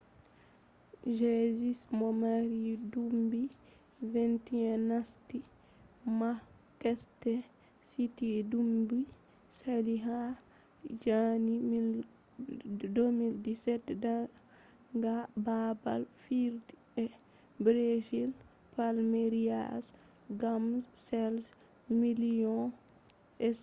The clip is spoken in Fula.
jesus mo mari duubi 21 nasti manchester city duubi sali ha janeru 2017 daga babal fijirde brazil palmeiras gam chede miliyon £27